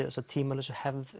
þessa tímalausu hefð